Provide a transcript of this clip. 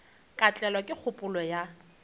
ka tlelwa ke kgopolo ya